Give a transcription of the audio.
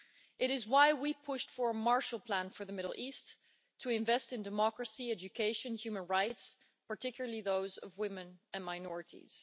That is why we pushed for a Marshall Plan for the Middle East to invest in democracy, education and human rights, particularly those of women and minorities.